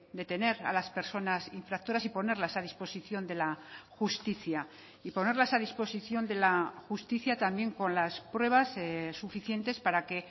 detener a las personas infractoras y ponerlas a disposición de la justicia y ponerlas a disposición de la justicia también con las pruebas suficientes para que